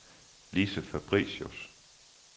Lise Fabricius